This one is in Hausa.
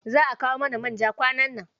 Za a kawo mana man ja kwanan nan.